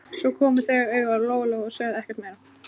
Svo komu þau auga á Lóu-Lóu og sögðu ekkert meira.